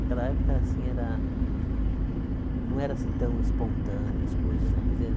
Aquela época assim era não eram tão espontâneas as coisas né quer dizer.